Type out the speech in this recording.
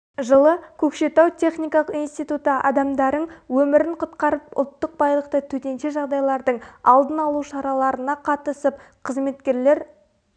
жылы көкшетау техникалық институты адамдарың өмірін құтқарып ұлттық байлықты төтенше жағдайлардың алдын алу шараларына қатысып қызметкерлер